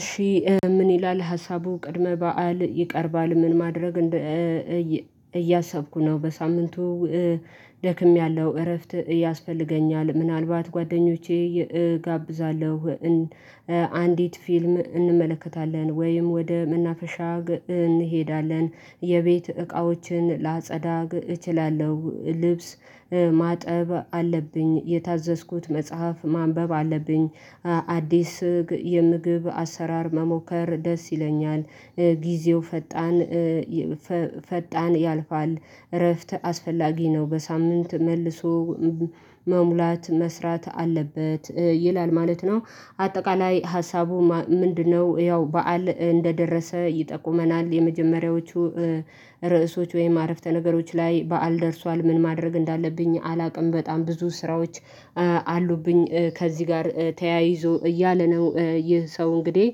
እሺ ምን ይላል ሀሳቡ ቅድመ በዓል ይቀርባል ምን ማድረግ? እያሰብኩ ነው በሳምንቱ ደክሜያለሁ እረፍት ያስፈልገኛል ምናልባት ጓደኞቼ እጋብዛለሁ። አንዲት ፊልም እንመለከታለን ወይም ወደ መናፈሻ እንሄዳለን። የቤት እቃዎችን ላጸዳግ እችላለሁ ልብስ ማጠብ አለብኝ የታዘዝኩት መጽሐፍ ማንበብ አለብኝ። አዲስ ስግ የምግብ አሰራር መሞከር ደስ ይለኛል። ጊዜው ፈጣን ፈጣን ያልፋል እረፍት አስፈላጊ ነው በሳምንት መልሶ መሙላት መስራት አለበት ይላል ማለት ነው። አጠቃላይ ሀሳቡ ምንድነው? ያው በዓል እንደደረሰ ይጠቁመናል የመጀመሪያዎቹ ርዕሶች ወይም አረፍተ ነገሮች ላይ በዓል ደርሷል ምን ማድረግ እንዳለብኝ አላውቅም በጣም ብዙ ስራዎች አሉብኝ። ከዚህ ጋር ተያይዞ እያለ ነው ይህ ሰው እንግዲህ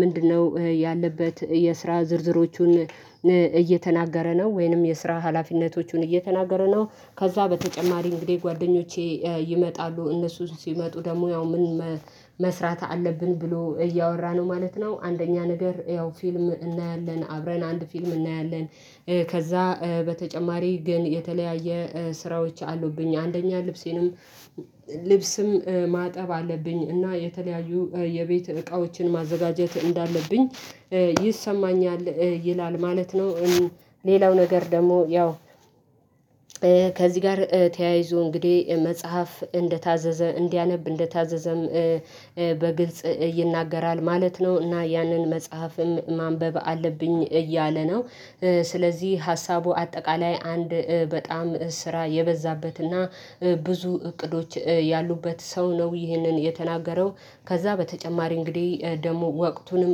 ምንድነው ያለበት የስራ ዝርዝሮቹን እየተናገረ ነው ወይንም የስራ ሀላፊነቶቹን እየተናገረ ነው። ከዛ በተጨማሪ እንግዲህ ጓደኞቼ ይመጣሉ እነሱ ሲመጡ ደግሞ ያው ምን መስራት አለብን ብሎ እያወራን ነው ማለት ነው። አንደኛ ነገር ያው ፊልም እናያለን አብረን አንድ ፊልም እናያለን ከዛ በተጨማሪ ግን የተለያየ ስራዎች አሉብኝ አንደኛ ልብሴንም ልብስም ማጠብ አለብኝ እና የተለያዩ የቤት እቃዎችን ማዘጋጀት እንዳለብኝ ይሰማኛል ይላል ማለት ነው። ሌላው ነገር ደግሞ ያው ከዚህ ጋር ተያይዞ እንግዲህ መጽሐፍ እንደታዘዘ እንዲያነብ እንደታዘዘም በግልጽ ይናገራል ማለት ነው። እና ያንን መጽሐፍም ማንበብ አለብኝ እያለ ነው። ስለዚህ ሀሳቡ አጠቃላይ አንድ በጣም ስራ የበዛበትና ብዙ እቅዶች ያሉበት ሰው ነው ይህንን የተናገረው ከዛ በተጨማሪ እንግዲህ ደግሞ ወቅቱንም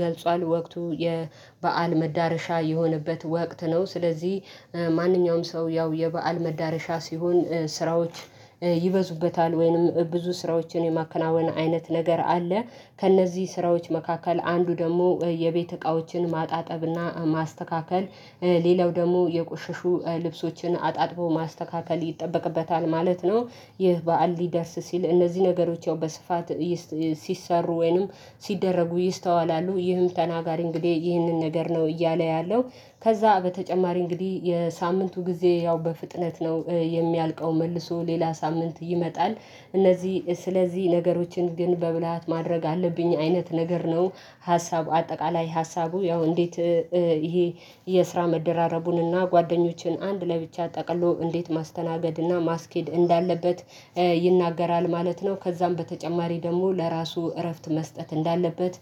ገልጿል ወቅቱ የበአል መዳረሻ የሆነበት ወቅት ነው። ስለዚህ ማንኛውም ሰው ያው የበአል መዳረሻ ሲሆን ስራዎች ይበዙበታል ወይንም ብዙ ስራዎችን የማከናወን አይነት ነገር አለ ከእነዚህ ስራዎች መካከል አንዱ ደግሞ የቤት እቃዎችን ማጣጠብና ማስተካከል ሌላው ደግሞ የቆሸሹ ልብሶችን አጣጥቦ ማስተካከል ይጠበቅበታል ማለት ነው። ይህ በዓል ሊደርስ ሲል እነዚህ ነገሮች ያው በስፋት ሲሰሩ ወይንም ሲደረጉ ይስተዋላሉ ይህም ተናጋሪ እንግዲህ ይህንን ነገር ነው እያለ ያለው ከዛ በተጨማሪ እንግዲህ የሳምንቱ ጊዜ ያው በፍጥነት ነው የሚያልቀው መልሶ ሌላ ሳምንት ይመጣል እነዚህ ስለዚህ ነገሮችን ግን በብልሃት ማድረግ አለብኝ አይነት ነገር ነው። ሀሳቡ አጠቃላይ ሀሳቡ ያው እንዴት ይሄ የስራ መደራረቡንና ጓደኞችን አንድ ላይ ብቻ ጠቅሎ እንዴት ማስተናገድና ማስኬድ እንዳለበት ይናገራል ማለት ነው። ከዛም በተጨማሪ ደግሞ ለራሱ እረፍት መስጠት እንዳለበት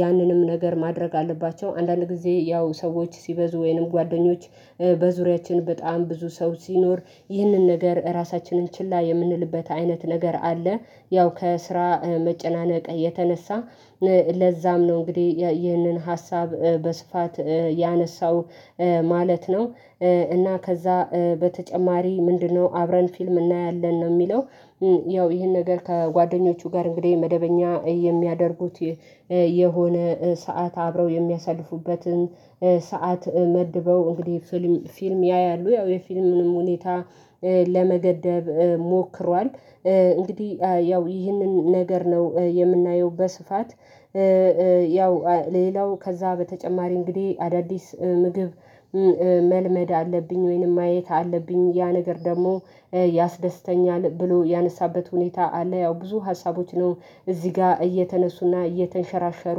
ያንንም ነገር ማድረግ አለባቸው አንዳንድ ጊዜ ያው ሰዎች ሲበዙ ወይንም ጓደኞች በዙሪያችን በጣም ብዙ ሰው ሲኖር ይህንን ነገር እራሳችንን ችላ የምንልበት አይነት ነገር አለ ያው ከስራ መጨናነቅ የተነሳ ለዛም ነው እንግዲህ ይህንን ሀሳብ በስፋት ያነሳው ማለት ነው። እና ከዛ በተጨማሪ ምንድነው አብረን ፊልም እናያለን ነው የሚለው ያው ይሄን ነገር ከጓደኞቹ ጋር እንግዲህ መደበኛ የሚያደርጉት የሆነ ሰዓት አብረው የሚያሳልፉበትን ሰዓት መድበው እንግዲህ ፊልም ፊልም ያያሉ ያው የፊልሙንም ሁኔታ ለመገደብ ሞክሯል። እንግዲህ ያው ይህንን ነገር ነው የምናየው በስፋት ያው ሌላው ከዛ በተጨማሪ እንግዲህ አዳዲስ ምግብ መልመድ አለብኝ ወይንም ማየት አለብኝ ያ ነገር ደግሞ ያስደስተኛል ብሎ ያነሳበት ሁኔታ አለ ያው ብዙ ሀሳቦች ነው። እዚህ ጋር እየተነሱና እየተንሸራሸሩ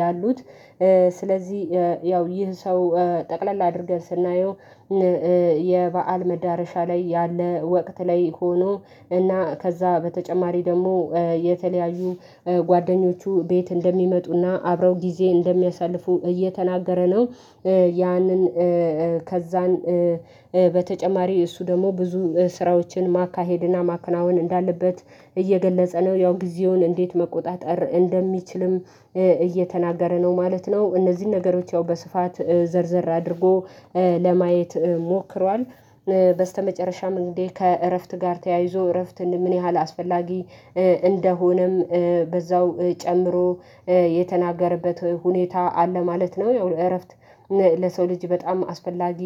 ያሉት ስለዚህ ያው ይህ ሰው ጠቅለል አድርገን ስናየው የበአል መዳረሻ ላይ ያለ ወቅት ላይ ሆኖ እና ከዛ በተጨማሪ ደግሞ የተለያዩ ጓደኞቹ ቤት እንደሚመጡና አብረው ጊዜ እንደሚያሳልፉ እየተናገረ ነው። ያንን ከዛን በተጨማሪ እሱ ደግሞ ብዙ ስራዎችን ማካሄድና ማከናወን እንዳለበት እየገለጸ ነው ያው ጊዜውን እንዴት መቆጣጠር እንደሚችልም እየተናገረ ነው ማለት ነው። እነዚህን ነገሮች ያው በስፋት ዘርዘር አድርጎ ለማየት ሞክሯል። በስተመጨረሻም እንግዲህ ከእረፍት ጋር ተያይዞ እረፍት ምን ያህል አስፈላጊ እንደሆነም በዛው ጨምሮ የተናገረበት ሁኔታ አለ ማለት ነው። ያው እረፍት ለሰው ልጅ በጣም አስፈላጊ